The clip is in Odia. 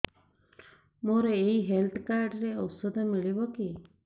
ମୋର ଏଇ ହେଲ୍ଥ କାର୍ଡ ରେ ଔଷଧ ମିଳିବ କି